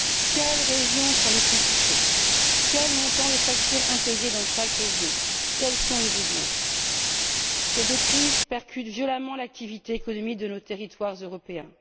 Quelles sont les régions les plus touchées, quel est le montant des factures impayées dans chaque région, quels sont les besoins? Ces deux crises percutent violemment l'activité économique de nos territoires européens.